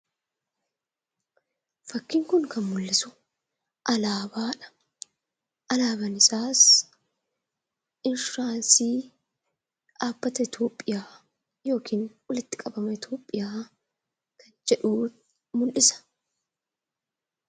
Fakkiin kun kan mul'isu alaabaadha. Alaabaan isaas insuuraansii dhaabbata Itoophiyaa yookiin walitti qabama Itoophiyaa jedhu mul'isa.